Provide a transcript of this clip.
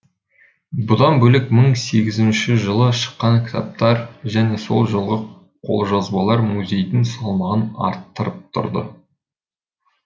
бұдан бөлек мың сегіз жүзінші жылы шыққан кітаптар және сол жылғы қолжазбалар музейдің салмағын арттырып тұрды